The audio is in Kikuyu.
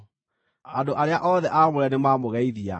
Andũ arĩa othe aamũre nĩmamũgeithia.